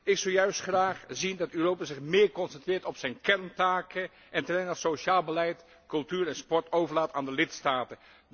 Ik zou juist graag zien dat Europa zich meer concentreert op zijn kerntaken en terreinen als sociaal beleid, cultuur en sport overlaat aan de lidstaten.